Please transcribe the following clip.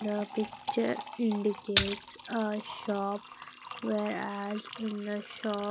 The picture indicates a shop whereas in the shop--